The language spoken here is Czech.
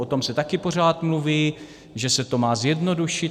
O tom se taky pořád mluví, že se to má zjednodušit.